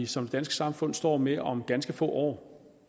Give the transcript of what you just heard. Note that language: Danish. som dansk samfund står med om ganske få år